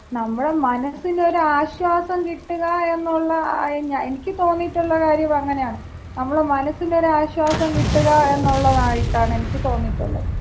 നമ്മുടെ മനസ്സിനൊരു ആശ്വാസം കിട്ടുക എന്നുള്ള, എനിക്ക് തോന്നിയിട്ടുള്ള കാര്യം അങ്ങനാണ്. നമ്മള മനസ്സിന് ഒരു ആശ്വാസം കിട്ടുക എന്നുള്ളതായിട്ടാണ് എനിക്ക് തോന്നിയിട്ടുള്ളത്.